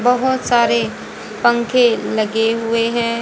बहोत सारे पंखे लगे हुए है।